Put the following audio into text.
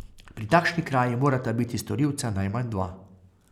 Pri takšni kraji morata biti storilca najmanj dva.